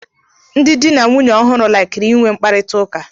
Ndị dị na nwunye ọhụrụ laikiri ị nwe mkparịtaụka.